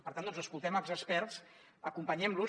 per tant doncs escoltem els experts acompanyem los